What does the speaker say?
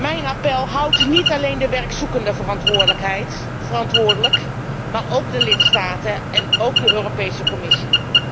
Mijn appel houdt niet alleen de werkzoekenden verantwoordelijk, maar ook de lidstaten en ook de Europese Commissie.